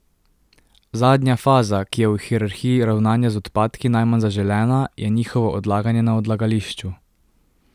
Zadnja faza, ki je v hierarhiji ravnanja z odpadki najmanj zaželena, je njihovo odlaganje na odlagališču.